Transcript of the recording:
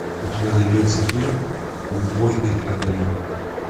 у тебя найдется фильм убойный огонек